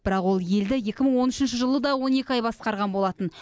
бірақ ол елді екі мың он үшінші жылы да он екі ай басқарған болатын